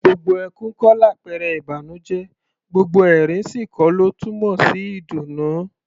Gbogbo ẹkún kọ́ làpẹrẹ ìbànújẹ́; gbogbo ẹ̀rín sì kọ́ ló túmọ̀ sí ìdùnnú.